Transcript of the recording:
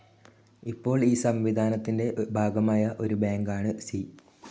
ഇപ്പോൾ ഈ സംവിധാനത്തിന്റെ ഭാഗമായ ഒരു ബാങ്കാണ് സി.